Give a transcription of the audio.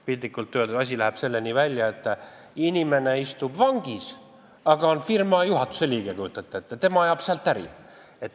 Piltlikult öeldes läheb asi selleni välja, et inimene istub vangis, aga kujutate ette, ta on ka firma juhatuse liige, ajab sealt äri.